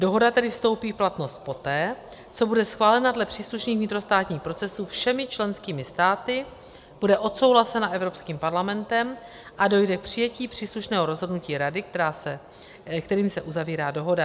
Dohoda tedy vystoupí v platnost poté, co bude schválena dle příslušných vnitrostátních procesů všemi členskými státy, bude odsouhlasena Evropským parlamentem a dojde k přijetí příslušného rozhodnutí Rady, kterým se uzavírá dohoda.